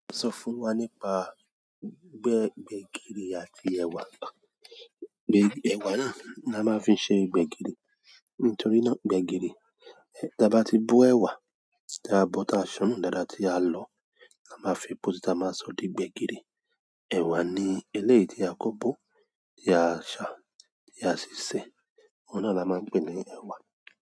Ó sọ fún wa nípa ọbẹ̀ gbẹ̀gìrì àti ẹ̀wà. Ẹwà náà la máa fí ń ṣe gbẹgiri nítorí náà gbẹ̀gìrì, tí a bá ti bo ẹ̀wà, tí a bo tá ṣannú dáadáa tí a lọ, a máa fi èpo si, ta máa sọ di gbẹ̀gìrì. Ẹ̀wà ni eléyìí tí a kóbọ̀, tí a ṣà, tí a ṣíṣè. Òun náà la máa ń pè ní ẹ̀wà.